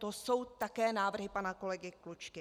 To jsou také návrhy pana kolegy Klučky.